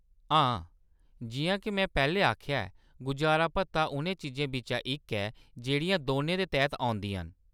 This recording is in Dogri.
हां, जिʼयां के में पैह्‌‌‌लें आखेआ ऐ, गुजारा भत्ता उ'नें चीजें बिच्चा इक ऐ जेह्‌‌ड़ियां दौनें दे तैह्त औंदियां न।